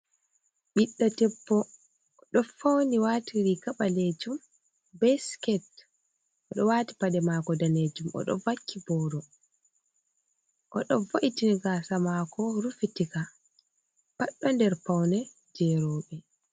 Ɓiɗɗo debbo oɗo fawni , wati riga ɓalejum be siket oɗo wati paɗe mako danejum, oɗo vakki booro oɗo vo’itin gasa mako rufitika pat ɗon nder paune jei rewɓe.